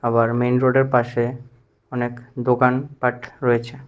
আবার মেইন রোডের পাশে অনেক দোকান পাঠ রয়েছে।